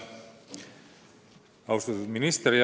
Austatud minister!